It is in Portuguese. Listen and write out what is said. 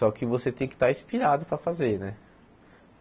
Só que você tem que estar inspirado para fazer, né?